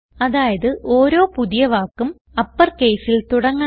അതായത് ഓരോ പുതിയ വാക്കും uppercaseൽ തുടങ്ങണം